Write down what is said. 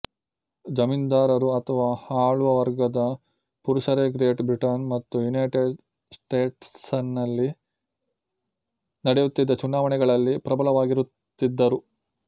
ಜಮೀನ್ದಾರರು ಅಥವಾ ಆಳುವ ವರ್ಗದ ಪುರುಷರೇಗ್ರೇಟ್ ಬ್ರಿಟನ್ ಮತ್ತು ಯುನೈಟೆಡ್ ಸ್ಟೇಟ್ಸನಲ್ಲಿ ನಡೆಯುತ್ತಿದ್ದ ಚುನಾವಣೆಗಳಲ್ಲಿ ಪ್ರಬಲವಾಗಿರುತ್ತಿದ್ದರು